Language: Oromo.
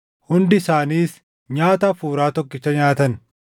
Hundi isaaniis nyaata hafuuraa tokkicha nyaatan.